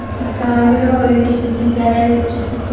Avtomobil va uyga jiddiy zarar yetgan.